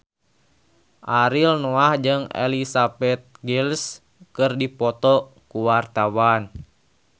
Ariel Noah jeung Elizabeth Gillies keur dipoto ku wartawan